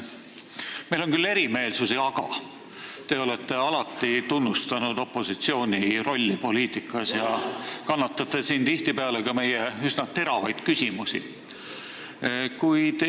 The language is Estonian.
Meil on küll erimeelsusi, aga te olete alati tunnustanud opositsiooni rolli poliitikas ja kannatate tihtipeale siin välja ka meie üsna teravad küsimused.